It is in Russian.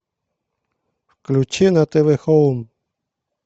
включи на тв хоум